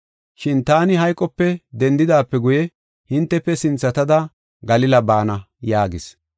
Shin taani hayqope dendidaape guye hintefe sinthatada Galila baana” yaagis.